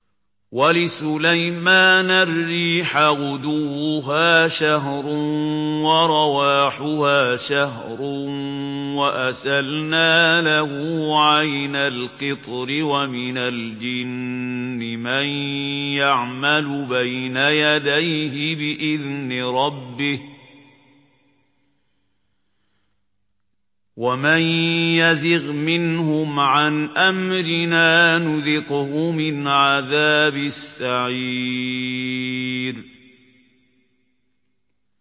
وَلِسُلَيْمَانَ الرِّيحَ غُدُوُّهَا شَهْرٌ وَرَوَاحُهَا شَهْرٌ ۖ وَأَسَلْنَا لَهُ عَيْنَ الْقِطْرِ ۖ وَمِنَ الْجِنِّ مَن يَعْمَلُ بَيْنَ يَدَيْهِ بِإِذْنِ رَبِّهِ ۖ وَمَن يَزِغْ مِنْهُمْ عَنْ أَمْرِنَا نُذِقْهُ مِنْ عَذَابِ السَّعِيرِ